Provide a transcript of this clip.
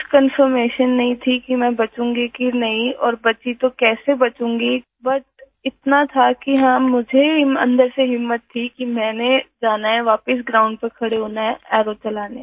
कुछ कन्फर्मेशन नहीं थी कि मैं बचूंगी की नहीं और बची तो कैसे बचूंगी बट इतना था कि हाँ मुझे अन्दर से हिम्मत थी कि मैंने जाना है वापिस ग्राउंड पर खड़े होना है अरो चलाने